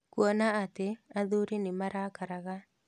Kuona atĩ athuri nĩmarakaraga